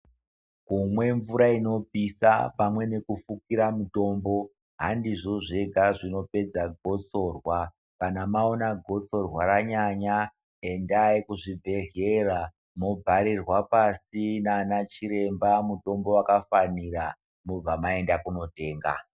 Kunwe mvura inopisha, pamwe ngekufukira mitombo handizvo zvega zvinopedza gosorwa ,kana mawona gosorwa ranyanya endayi kuzvibhedlera mobharirwa pasi naana chiremba mutombo wakafanira mobva maenda kunotenga.